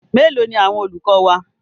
Mélòó ni àwọn olùkọ́ wa?